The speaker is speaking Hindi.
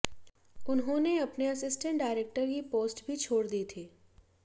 उन्होंने अपने असिस्टेंट डायरेक्टर की पोस्ट भी छोड़ दी थी